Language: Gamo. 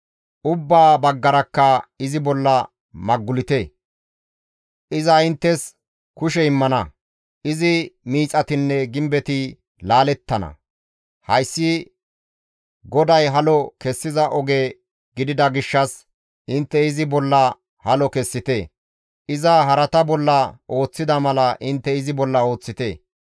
Ubbaa baggarakka izi bolla maggulite! Iza inttes kushe immana; izi miixatinne gimbetti laalettana; hayssi GODAY halo kessiza oge gidida gishshas intte izi bolla halo kessite; iza harata bolla ooththida mala intte izi bolla ooththite.